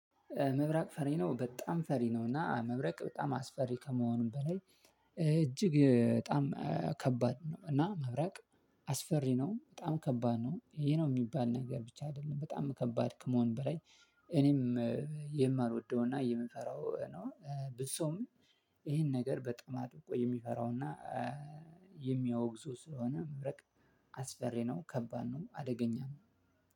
መብራቅ ፈሪ ነው በጣም ፈሪ ነው እና መብራቅ በጣም አስፈሪ ከመሆኑም በላይ እጅግ በጣም ከባድ ነው። እና መብራቅ አስፈሪ ነው በጣም ከባድ ነው። ይሄ ነው የሚባል ነገር ብቻ አይደለም በጣም ከባድ ከመሆን በላይ። እኔም የማልወደውና የምንፈራው ነው። ብዙ ሰውም ይሄን ነገር በጣም አድርጎ የሚፈራውና የሚያወግዙ ስለሆነ መብረቅ አስፈሪ ነው። ከባድ ነው አደገኛው።